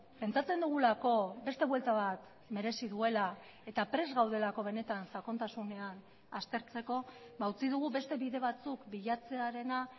pentsatzen dugulako beste buelta bat merezi duela eta prest gaudelako benetan sakontasunean aztertzeko utzi dugu beste bide batzuk bilatzearena